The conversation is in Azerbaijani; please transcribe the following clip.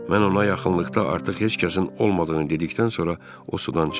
Mən ona yaxınlıqda artıq heç kəsin olmadığını dedikdən sonra o sudan çıxdı.